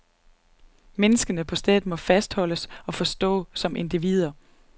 Menneskene på stedet må fastholdes og forstås som individer.